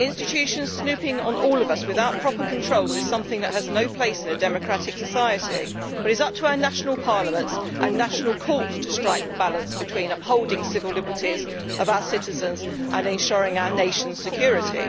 Institutions snooping on all of us without proper controls is something that has no place in a democratic society, but it is up to our national parliaments and national courts to strike the balance between upholding civil liberties of our citizens and ensuring our nationʼs security.